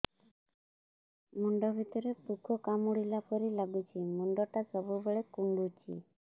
ମୁଣ୍ଡ ଭିତରେ ପୁକ କାମୁଡ଼ିଲା ପରି ଲାଗୁଛି ମୁଣ୍ଡ ଟା ସବୁବେଳେ କୁଣ୍ଡୁଚି